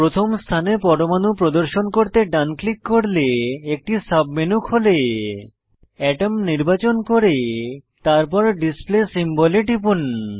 প্রথম স্থানে পরমাণু প্রদর্শন করতে ডান ক্লিক করলে একটি সাবমেনু খোলে এটমস নির্বাচন করে তারপর ডিসপ্লে সিম্বল এ টিপুন